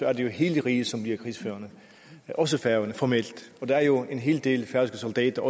er det jo hele riget som bliver krigsførende også færøerne formelt og der er jo også en hel del færøske soldater